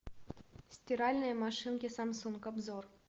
стиральные машинки самсунг обзор